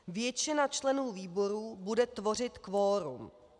Většina členů výboru bude tvořit kvorum.